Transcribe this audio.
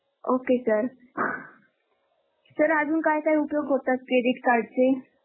Okay sir sir अजून काय काय उपयोग होतात Credit card चे?